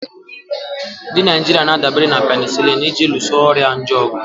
Ndị Naijiria na-adabere na penisilini iji luso ọrịa nje ọgụ.